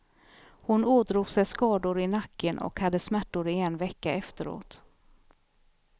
Hon ådrog sig skador i nacken och hade smärtor i en vecka efteråt.